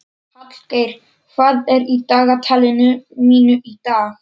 Hallgeir, hvað er í dagatalinu mínu í dag?